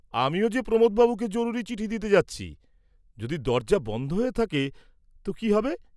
আমিও যে প্রমোদ বাবুকে জরুরি চিঠি দিতে যাচ্ছি, যদি দরজা বন্ধ হয়ে থাকে তো কি হবে?